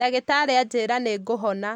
Ndagĩtarĩ ajĩra nĩngũhona